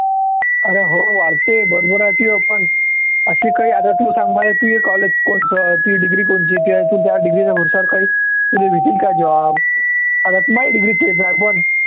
अरे हो वाढते बरोबर आहे तूह्य पण असे काही आता तू सांग मले तूह्य college कोणचं तुह्यी degree कोणची तूह्य तू त्या degree च्या भरोसावर तुला काही तुला भेटील का job आता माझी degree तेच आहे पण